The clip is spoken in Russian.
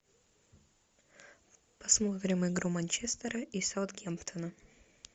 посмотрим игру манчестера и саутгемптона